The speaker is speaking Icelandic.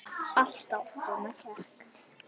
Alltaf svona kekk?